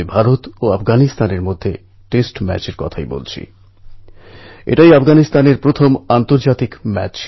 ভারতের বিশালত্ব ও বিবিধতার কারণে কখনও কখনও বর্ষাও তার পছন্দঅপছন্দ প্রকট করে